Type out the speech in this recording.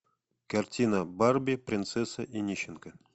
картина барби принцесса и нищенка